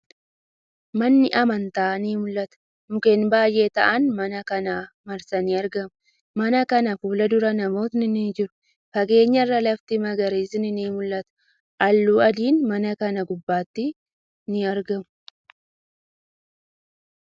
Manni amantaa ni mul'ata. Mukkeen baay'ee ta'an mana kana marsanii argamu. Mana kana fuuldura namootni ni jiru. Fageenya irraa lafti magariisni ni mul'ata. Haalluu adiin mana kana gubbaatti ni mul'ata.